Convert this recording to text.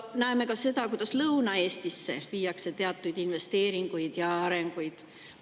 Näeme ka seda, et Lõuna‑Eestisse viiakse teatud investeeringuid ja arengut.